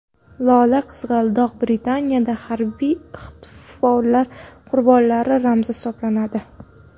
Lola-qizg‘aldoq Britaniyada harbiy ixtiloflar qurbonlari ramzi hisoblanadi.